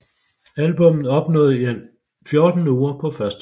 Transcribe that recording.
Albummet opnåede i alt 14 uger på førstepladsen